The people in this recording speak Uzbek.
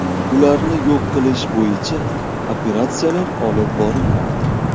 Ularni yo‘q qilish bo‘yicha operatsiyalar olib borilmoqda.